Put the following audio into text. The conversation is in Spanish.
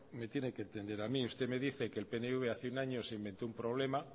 me tiene que entender a mí usted me dice que el pnv hace un año se inventó un problema